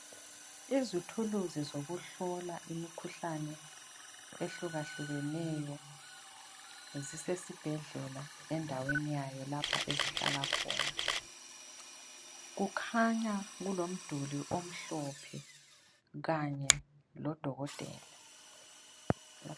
Izithuluzi zokuhlola imikhuhlane ehlukahlukeneyo zisesibhedlela endaweni yayo lapha ezihlala khona, kukhanya kulomduli omhlophe kanye lo dokotela.